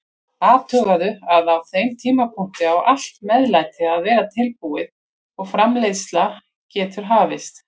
Athugaðu að á þeim tímapunkti á allt meðlæti að vera tilbúið og framreiðsla getur hafist.